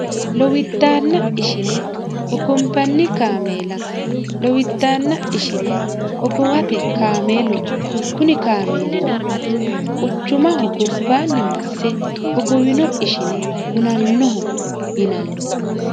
lowiddanna ishine hogombanni kaameela lowiddaanna ishine hogowate kaameeluno kuni kaameelino quchumaho gobbaanni masse hogowino ishine hunannoho yinanni